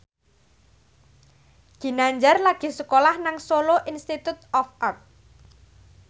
Ginanjar lagi sekolah nang Solo Institute of Art